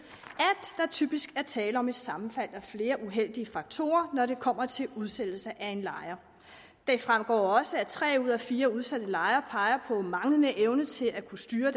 at der typisk er tale om et sammenfald af flere uheldige faktorer når det kommer til udsættelse af en lejer det fremgår også at tre ud af fire udsatte lejere peger på manglende evne til at kunne styre